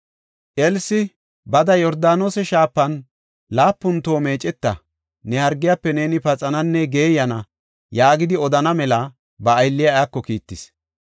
Elsi, “Bada Yordaanose Shaafan laapun toho meeceta; ne hargiyafe neeni paxananne geeyana” yaagidi odana mela ba aylliya iyako kiittis.